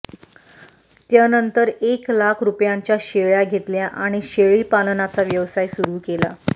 त्यनंतर एक लाख रुपयांच्या शेळ्या घेतल्या आणि शेळीपालनाचा व्यवसाय सुरू केला